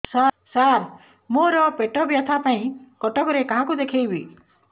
ସାର ମୋ ର ପେଟ ବ୍ୟଥା ପାଇଁ କଟକରେ କାହାକୁ ଦେଖେଇବି